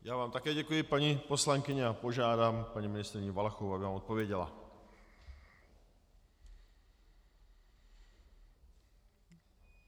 Já vám také děkuji, paní poslankyně, a požádám paní ministryni Valachovou, aby vám odpověděla.